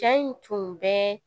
Ja in tun bɛ